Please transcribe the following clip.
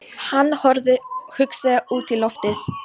Hann horfði hugsandi út í loftið.